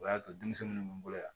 O y'a to denmisɛnninw bɛ n bolo yan